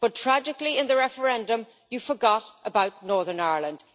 But, tragically, in the referendum you forgot about Northern Ireland.